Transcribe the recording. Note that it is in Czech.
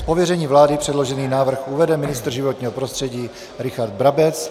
Z pověření vlády předložený návrh uvede ministr životního prostředí Richard Brabec.